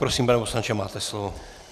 Prosím, pane poslanče, máte slovo.